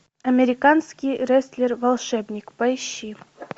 американский рестлер волшебник поищи